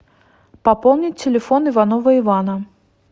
пополнить телефон иванова ивана